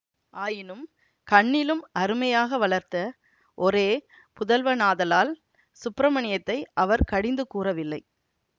ஆயினும் கண்ணிலும் அருமையாக வளர்த்த ஒரே புதல்வனாதலால் சுப்பிரமணியத்தை அவர் கடிந்து கூறவில்லை